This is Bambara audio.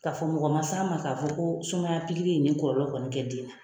K'a fɔ mɔgɔ ma s'an ma ka fɔ ko sumaya pikili ye nin kɔlɔlɔ kɛ den na